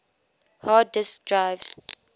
hard disk drives